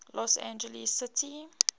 los angeles city